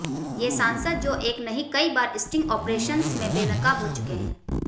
ये सांसद जो एक नहीं कई बार स्टिंग ऑपरेशन्स में बेनकाब हो चुके हैं